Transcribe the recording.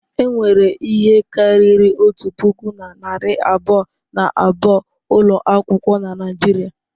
Enwere ihe karịrị otu puku na narị abụọ na abụọ ụlọ akwụkwọ na Nigeria.